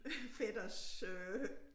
Fætters øh